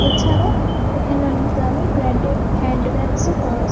''এছাড়া এখানে অনেক দামী ব্র্যান্ডেড হ্যান্ড ব্যাগস -ও পাওয়া যা --''